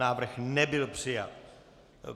Návrh nebyl přijat.